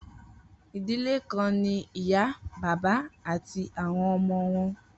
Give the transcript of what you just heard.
Idile kan ni iya, baba ati awọn ọmọ wọn.